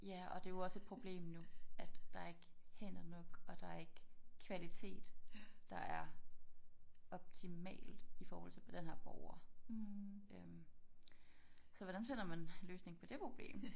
Ja og det jo også et problem nu at der ikke hænder nok og der ikke kvalitet der er optimalt i forhold til på denne her borger øh så hvordan finder man løsningen på det problem